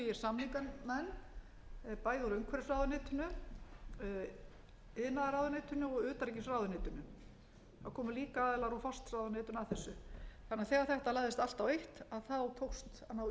samningamenn bæði úr umhverfisráðuneytinu iðnaðarráðuneytinu og utanríkisráðuneytinu það komu líka aðilar úr forsætisráðuneytinu að þessu þannig að þegar þetta lagðist allt á eitt tókst